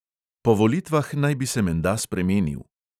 Po volitvah naj bi se menda spremenil.